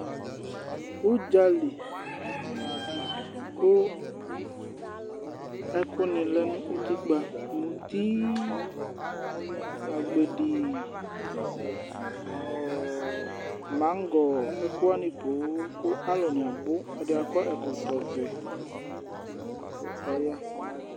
Ʋdza li kʋ ɛkʋnɩ lɛ nʋ utikpǝ: muti, agbedi ɔ ɔ maŋgɔ, ɛkʋ wanɩ poo kʋ alʋnɩ abʋ. Ɛdɩ akɔ ɛkɔ ɛkɔtɔvɛ kʋ ɔya.